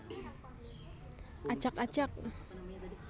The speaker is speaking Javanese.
Ajak ajak